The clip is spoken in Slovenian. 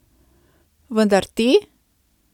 Vendar ti ...